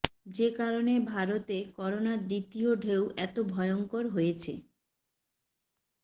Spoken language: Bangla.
যে কারণে ভারতে করোনার দ্বিতীয় ঢেউ এত ভয়ঙ্কর হয়েছে